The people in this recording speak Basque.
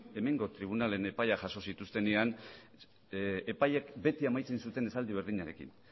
hemengo tribunalen epaia jaso zituztenean epaiek beti amaitzen zuten esaldi berdinarekin